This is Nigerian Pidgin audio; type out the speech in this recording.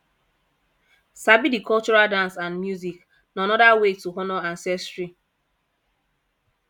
sabi the cultural dance and music na another way to honor ancestry